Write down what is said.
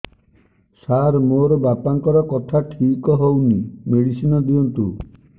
ସାର ମୋର ବାପାଙ୍କର କଥା ଠିକ ହଉନି ମେଡିସିନ ଦିଅନ୍ତୁ